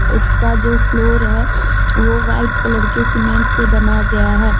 इसका जो फ्लोर है। वो वाइट कलर के सीमेंट से बना गया है।